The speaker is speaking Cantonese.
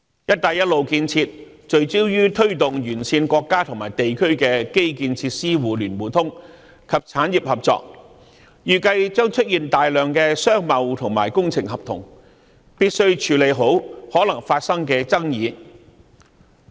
"一帶一路"建設聚焦於推動沿線國家和地區的基建設施互聯互通和產業合作，預計將出現大量商貿及工程合同，必須處理好可能會發生的爭議。